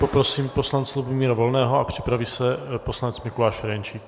Poprosím poslance Lubomíra Volného a připraví se poslanec Mikuláš Ferjenčík.